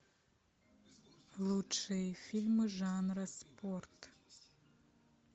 лучшие фильмы жанра спорт